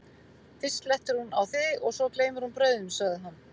fyrst slettir hún á þig og svo gleymir hún brauðinu, sagði hann.